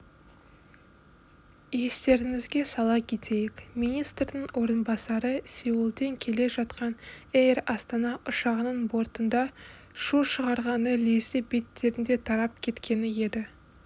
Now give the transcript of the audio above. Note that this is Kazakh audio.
естеріңізге сала кетейік министрдің орынбасары сеулден келе жатқан эйр астана ұшағының бортында шу шығарғаны лезде беттерінде тарап кеткен еді